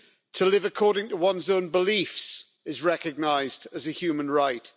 To live according to one's own beliefs is recognised as a human right.